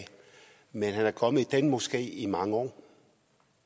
men han er kommet i den moské i mange år